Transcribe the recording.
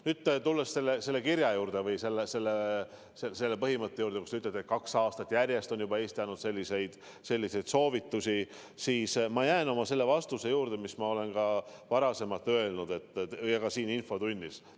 Nüüd tulles selle juurde, et te ütlete, et kaks aastat järjest on juba Eesti andnud selliseid soovitusi, siis ma jään oma vastuse juurde, mis ma olen varasemalt öelnud ja ka siin infotunnis.